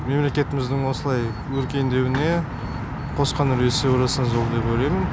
мемлекетіміздің осылай өркендеуіне қосқан үлесі орасан зор деп ойлаймын